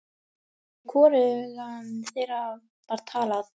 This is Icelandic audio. Við hvorugan þeirra var talað.